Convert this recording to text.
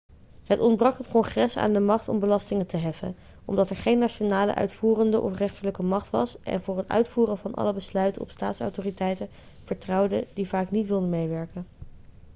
het ontbrak het congres aan de macht om belastingen te heffen omdat er geen nationale uitvoerende of rechterlijke macht was en voor het uitvoeren van alle besluiten op staatsautoriteiten vertrouwde die vaak niet wilden meewerken